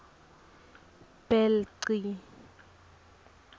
bhelci